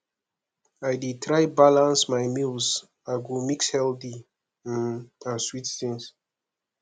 i dey try balance my meals i go mix healthy um and sweet things